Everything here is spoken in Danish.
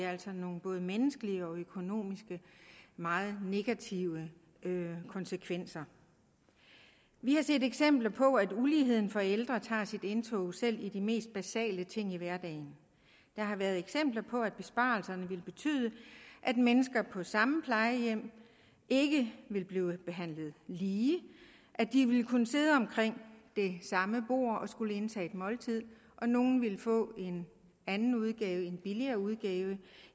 altså nogle både menneskeligt og økonomisk meget negative konsekvenser vi har set eksempler på at uligheden for ældre holder sit indtog i selv de mest basale ting i hverdagen der har været eksempler på at besparelserne vil betyde at mennesker på samme plejehjem ikke vil blive behandlet lige at de vil kunne sidde omkring det samme bord og skulle indtage et måltid hvor nogle vil få en anden udgave en billigere udgave